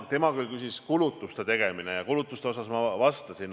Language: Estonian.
Tema küll küsis kulutuste tegemise kohta ja ma vastasin.